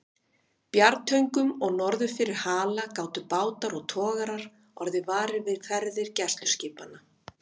Bjargtöngum og norður fyrir Hala gátu bátar og togarar orðið varir við ferðir gæsluskipanna.